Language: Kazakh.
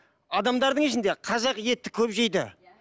адамдардың ішінде қазақ етті көп жейді